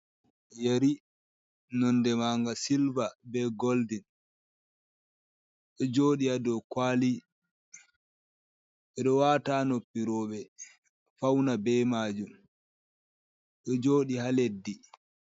Yeri nonde maaga silva be goldin, ɗo jooɗi a dow kuwali. Ɓe ɗo wata haa noppi rowɓe, fawna be maajum ,ɗo jooɗi haa leddi.